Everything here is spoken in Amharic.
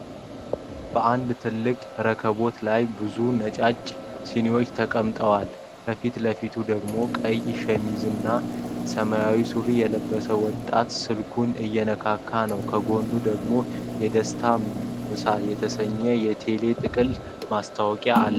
በአንድ ትልቅ ረከቦት ላይ ብዙ ነጫጭ ሲኒዋች ተቀምጠዋል። ከፊት ለፊቱ ደግሞ ቀይ ሸሚዝና ሰማያዊ ሱሪ የለበሰ ወጣት ስልኩን እየነካ ነው። ከጎን ደግሞ የደስታ ምሳ የተሰኘ የቴሌ የጥቅል ማስታወቂያ አለ።